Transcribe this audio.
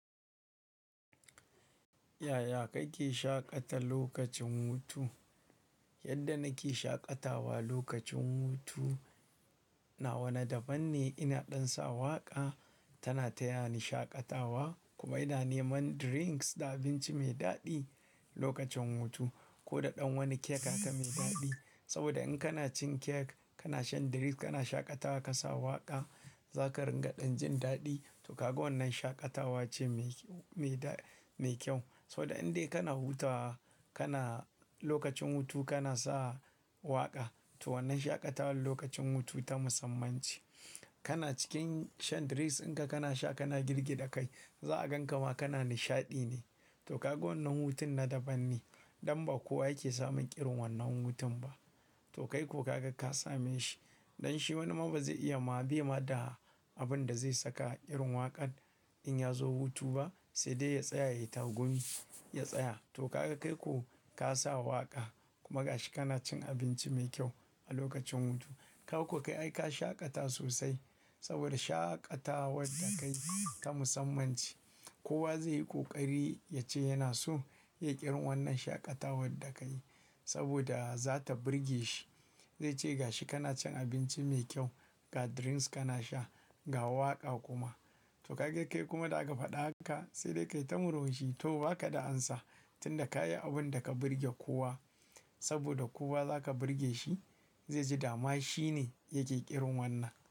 Yaya kake shaƙata lokacin hutu? Yadda nake shaƙatawa lokacin hutu na wa na daban ne. Ina ɗan sa waƙa, tana tayani shaƙatawa kuma ina neman drinks da abinci mai daɗi lokacin hutu. Ko da ɗan wani kek haka mai daɗi. Saboda in kana cin kek, kana shan drinks, kana shaƙatawa ka sa waƙa, za ka ringa ɗan jin daɗi. To kaga wannan shaƙatawa ce mai, mai da, mai kyau. Saboda in dai kana hutawa, kana lokacin hutu kana sa waƙa. To wannan shaƙatawar lokacin hutu ta musamman ce. Kana cikin shan drinks in ka kana sha kana girgida kai, za a gan ka ma kana nishaɗi ne. To kaga wannan hutun na daban ne. Ɗan ba kowa yake samun ƙirin wannan hutun ba. To kai ko ka ga ka same shi. Dan shi wani ma ba zai iya ma bai ma da abin da zai saka irin waƙan in ya zo hutu ba sai dai ya tsaya ya yi tagumi ya tsaya. To kaga kai ko ka sa waƙa kuma ga shi kana cin abinci mai kyau a lokacin hutu. Ka kau kai ai ka shaƙata sosai saboda shaƙatawar da ka yi ta musamman ce. Kowa zai yi ƙoƙari ya ce yana so ya yi irin wannan shaƙatawar da ka yi saboda za ta burge shi. Zai ce ga shi kana cin abinci mai kyau, ga drinks kana sha, ga waƙa kuma. To kaga kai kuma da aka faɗa haka sai dai ka yi ta muran shi. To ba ka da ansa tunda ka yi abin da ka burge kowa saboda kowa za ka burge shi. Zai ji dama shi ne yake ƙirin wannan.